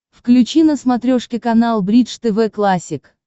включи на смотрешке канал бридж тв классик